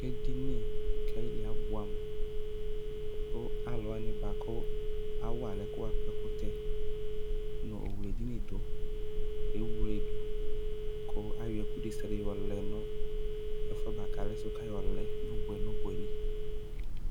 Edini kʋ ayili abʋɛ amʋ kʋ alʋ wani bʋakʋ awa alʋ ɛkʋtɛ nʋ owle edini dʋ le wledʋ kʋ ayɔ ɛkʋ desiade yɔlɛ nʋ ɛfʋe bʋakʋ alɛsʋ kʋ ayɔlɛ nʋ ʋbʋɛ nʋ ʋbʋɛli